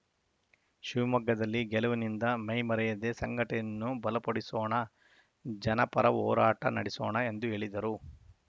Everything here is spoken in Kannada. ಶಿವಮೊಗ್ಗದಲ್ಲಿ ಗೆಲುವಿನಿಂದ ಮೈಮರೆಯದೇ ಸಂಘಟನೆಯನ್ನು ಬಲಪಡಿಸೋಣ ಜನಪರ ಹೋರಾಟ ನಡೆಸೋಣ ಎಂದು ಹೇಳಿದರು